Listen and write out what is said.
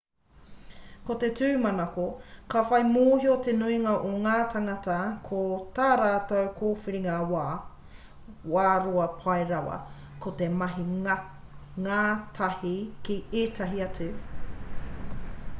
ko te tūmanako ka whai mōhio te nuinga o ngā tāngata ko tā rātou kōwhiringa wā roa pai rawa ko te mahi ngātahi ki ētahi atu